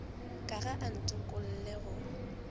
ka ga a ntokolle go